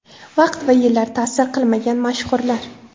Vaqt va yillar ta’sir qilmagan mashhurlar .